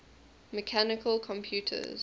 mechanical computers